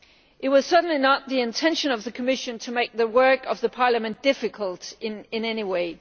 It was certainly not the intention of the Commission to make the work of the Parliament difficult in any way.